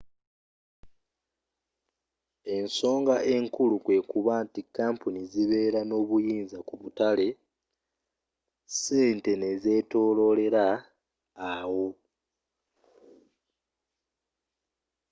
ensoga enkulu kwekuba nti kampuni zibera n'obuyinza ku butale sente nezzetololera awo